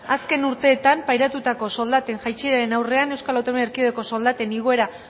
azken urteetan pairatutako soldaten jaitsieraren aurrean eaeko soldaten igoera